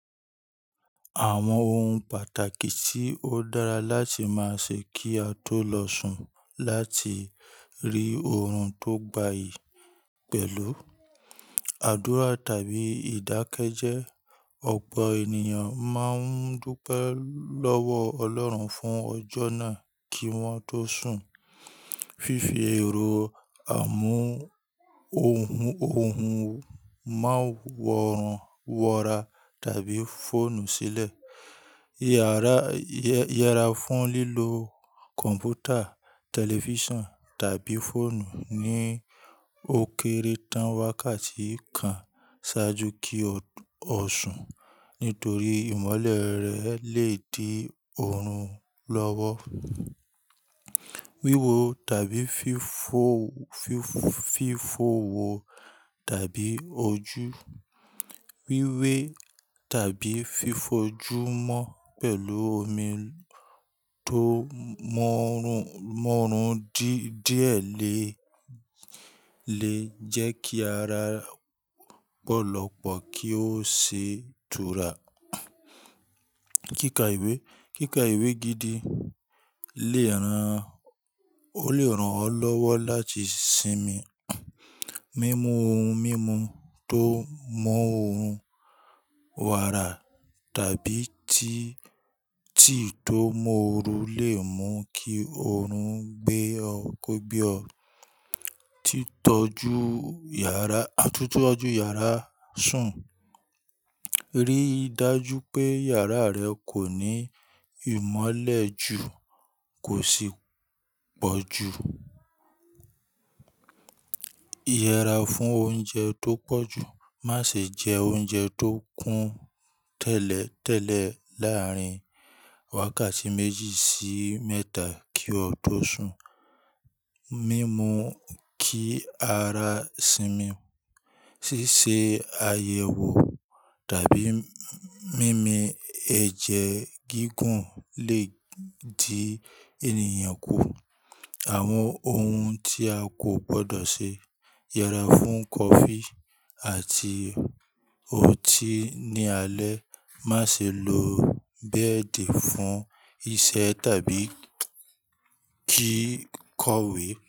Àwon oun pàtàkì tí ó dára láti má ṣe kí a tó lọ sùn láti rí oorun tó gbayì pẹ̀lú; Àdúrà tàbí ìdákẹ́jẹ́: ọ̀pọ̀ ènìyàn máa ń dúpẹ́ lọ́wọ́ ọlọ́run fún ọjọ́ náà kí wọ́n tó sùn. Fifi èrò àmú ohun-òhùn: Má wọ̀rọ̀ wọ́ra tàbí fóònù sílẹ̀. Yẹra fún lílo kọ̀npútà, tẹlifíṣàn tàbí fóònù ní ókéré tán wákàtí kan ṣáájú kí o lo sùn nítorí ìmọ́lẹ̀ rẹ̀ le di oorun lọ́wọ́. Wíwo tàbí fífo- fífo- fífo wo tàbí ojú: wíwé tàbí fi fojú mọ́ pẹ̀lú omi tó mọ́ran-mọ́ran dí-díẹ̀ le, le jẹ́ kí ara ọ̀pọ̀lọpọ̀ kí ó ṣe ìtura. Kíka ìwé: kíka ìwé gidi le è rán, o le rán ọ lọ́wọ́ láti sinmi. Mimu ohun mímu tó mú oorun wàrà tàbí tí-tí tó mọ́run le mú kí oorun gbé ọ kó gbé ọ. Titọju yàrá- àtún tọ́ju yàrá sùn: rí i dájú pé yàrá rẹ kò ní ìmọ́lẹ̀ jù kò sì pọ̀ jù. Yẹra fún oúnjẹ tó pọ̀jù: má ṣe jẹ oúnjẹ tó kún tẹ́lẹ̀-tẹ́lẹ̀ láàrin wákàtí méjì sí mẹ́ta kí o tó sùn. Mimu kí ara sinmi: ṣíṣe àyẹ̀wò tàbí mimi ẹ̀jẹ̀ gígùn le di ènìyàn kú. Àwọn ohun tí a kò gbọdọ̀ ṣe: yẹra fún kọfí àti ọtí ní alẹ́. Má ṣe lo bẹ́ẹ̀dì fún iṣẹ́ tàbí kí kówe.